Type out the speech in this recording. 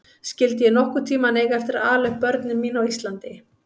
Skyldi ég nokkurn tíma eiga eftir að ala upp börn mín á Íslandi?